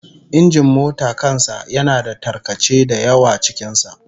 Injin mota kan sa yana da tarkace da yawa cikin sa